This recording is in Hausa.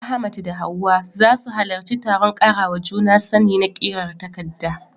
Ahmad da Hawwa za su halarci taron karawa juna sani na ƙirar takarda